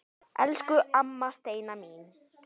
Elsku amma Steina mín.